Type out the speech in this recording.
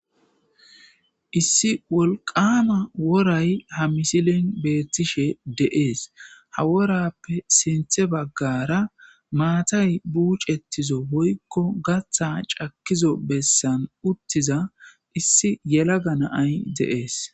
issi wolqama woray ha misilin beettishe deees ha worappe sinthe baggara maatay buucettizo hoykko gatha cakizo bessan uttiza issi yela ga naay deees